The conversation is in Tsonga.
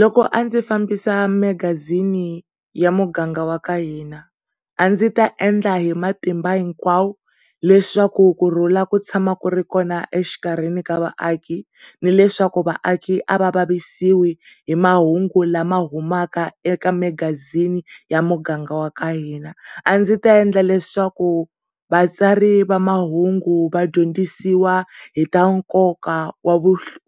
Loko a ndzi fambisa magazini ya muganga wa ka hina a ndzi ta endla hi matimba hinkwawo leswaku kurhula ku tshama ku ri kona exikarhi ka vaaki ni leswaku vaaki a va vavisisi hi mahungu lama humaka eka magazini ya muganga wa ka hina a ndzi ta endla leswaku vatsari va mahungu vadyondzisiwa hi ta nkoka